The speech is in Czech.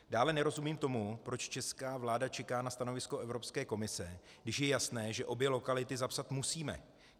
Dále nerozumím tomu, proč česká vláda čeká na stanovisko Evropské komise, když je jasné, že obě lokality zapsat musíme.